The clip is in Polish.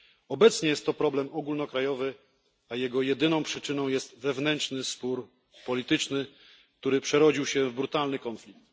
Obecnie jest to problem ogólnokrajowy, a jego jedyną przyczyną jest wewnętrzny spór polityczny, który przerodził się w brutalny konflikt.